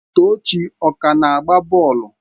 Tochi ọ na-agba bọọlụ?